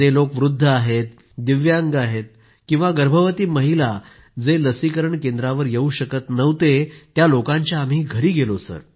जे लोक वृद्ध आहेत दिव्यांग लोक तसेच गर्भवती महिला या लोकांच्या घरी गेलो